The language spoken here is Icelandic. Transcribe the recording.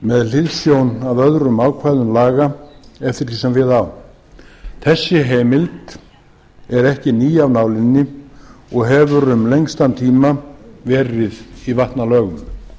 með hliðsjón af öðrum ákvæðum laga eftir því sem við á þessi heimild er ekki ný af nálinni og hefur um lengstan tíma verið í vatnalögum